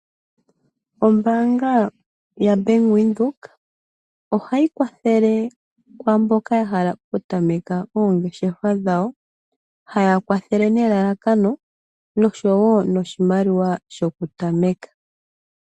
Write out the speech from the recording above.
Ombanga ya Bank Windhoek ohayi kwadhele kwamboka ya hala oku tameka oongeshefa dhawo ,haya kwathele ne lalakano noshowo noshimaliwa shoku tameka.